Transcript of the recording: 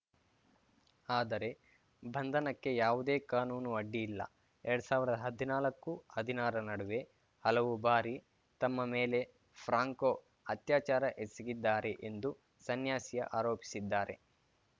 ಆದರೆ ಬಂಧನಕ್ಕೆ ಯಾವುದೇ ಕಾನೂನು ಅಡ್ಡಿಯಿಲ್ಲ ಎರಡ್ ಸಾವಿರದ ಹದಿನಾಲ್ಕುಹದಿನಾರರ ನಡುವೆ ಹಲವು ಬಾರಿ ತಮ್ಮ ಮೇಲೆ ಫ್ರಾಂಕೊ ಅತ್ಯಾಚಾರ ಎಸಗಿದ್ದಾರೆ ಎಂದು ಸನ್ಯಾಸಿ ಆರೋಪಿಸಿದ್ದಾರೆ